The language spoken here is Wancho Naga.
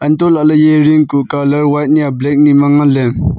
untoh lahley eya ring kuh colour white nia black ni ma nganley.